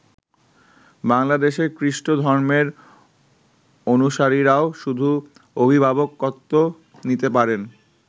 বাংলাদেশের খ্রিষ্ট ধর্মের অনুসারীরাও শুধু অভিভাবকত্ব নিতে পারেন।